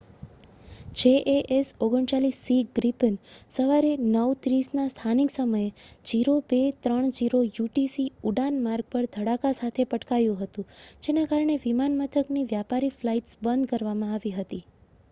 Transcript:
jas 39c Gripen સવારે 9:30 ના સ્થાનિક સમયે 0230 યુટીસી ઉડાન-માર્ગ પર ધડાકા સાથે પટકાયું હતું જેના કારણે વિમાન મથકની વ્યાપારી ફ્લાઈટ્સ બંધ કરવામાં આવી હતી